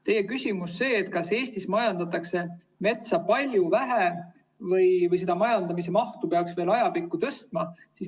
Teie küsimus oli, kas Eestis majandatakse metsa palju või peaks majandamise mahtu veel ajapikku tõstma.